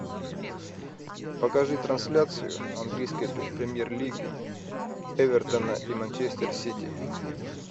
покажи трансляцию английской премьер лиги эвертона и манчестер сити